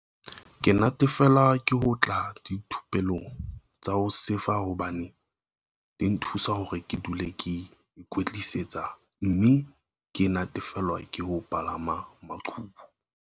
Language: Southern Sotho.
"Ke natefelwa ke ho tla dithupelong tsa ho sefa hobane di nthusa hore ke dule ke ikwetlisitse mme ke natefelwa ke ho palama maqhubu."